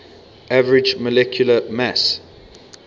average molecular mass